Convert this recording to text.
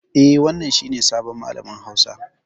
Eh, wannan ne sabon malamin hausa.